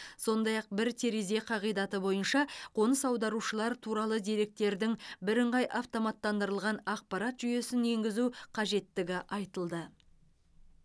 сондай ақ бір терезе қағидаты бойынша қоныс аударушылар туралы деректердің бірыңғай автоматтандырылған ақпарат жүйесін енгізу қажеттігі айтылды